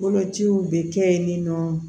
Bolociw bɛ kɛ yen nin nɔ